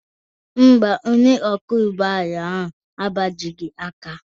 Mba, onye ọkwọ ụgbọ ala ahụ agbajighị aka ya